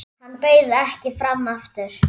Hann bauð ekki fram aftur.